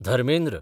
Dharmendra